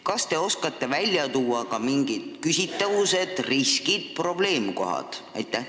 Kas te oskate välja tuua ka mingid küsitavused, riskid, probleemkohad?